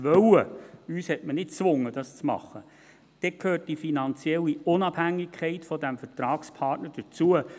man hat uns nicht dazu gezwungen –, so gehört die finanzielle Unabhängigkeit dieses Vertragspartners dazu.